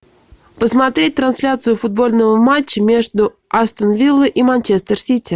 посмотреть трансляцию футбольного матча между астон виллой и манчестер сити